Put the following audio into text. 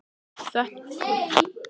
Þarna er spurning til að glíma við.